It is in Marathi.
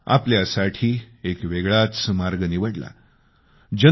त्यानं आपल्यासाठी एक वेगळाच मार्ग निवडला